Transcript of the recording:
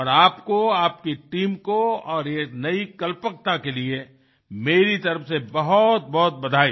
और आपको आपकी टीम को और ये नई कल्पकता के लिए मेरी तरफ से बहुतबहुत बधाई